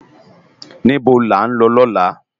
Nibó lá n lò lòlá?